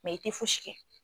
Mɛ i tɛ fo si kɛ.